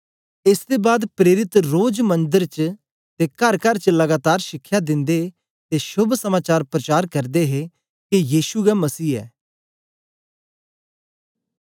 एस दे बाद प्रेरित रोज मंदर च ते करकर च लगातार शिखया दिंदे ते शोभ समाचार प्रचार करदे हे के यीशु गै मसीह गै